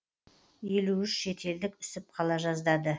елу үш шетелдік үсіп қала жаздады